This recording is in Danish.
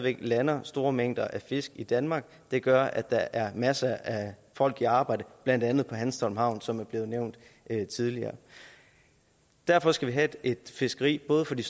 væk lander store mængder af fisk i danmark det gør at der er masser af folk i arbejde blandt andet på hanstholm havn som er blevet nævnt tidligere derfor skal vi have et fiskeri både for de